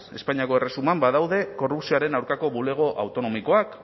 espainiako erresuman badaude korrupzioaren aurkako bulego autonomikoak